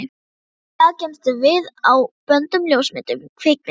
Í dag geymumst við á böndum, ljósmyndum, kvikmyndum.